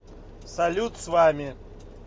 салют с вами